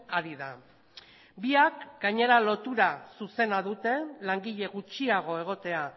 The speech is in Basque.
ari da biak gainera lotura zuzena dute langile gutxiago egotea